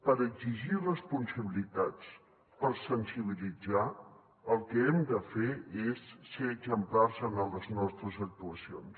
per exigir responsabilitats per sensibilitzar el que hem de fer és ser exemplars en les nostres actuacions